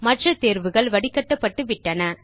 மற்ற தேர்வுகள் வடிக்கட்டப்பட்டு விட்டன